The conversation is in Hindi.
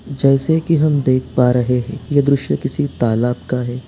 जैसे की हम देख पा रहे हैं ये दृश्य किसी तालाब का है।